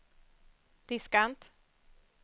diskant